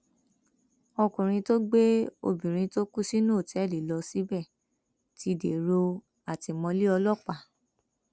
ọkùnrin tó gbé obìnrin tó kú sínú òtẹẹlì lọ síbẹ ti dèrò àtìmọlé ọlọpàá